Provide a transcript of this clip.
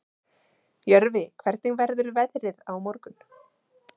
Jörfi, hvernig verður veðrið á morgun?